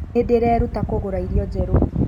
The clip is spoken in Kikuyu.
Nĩndĩraĩruta kũruga irĩo njerũ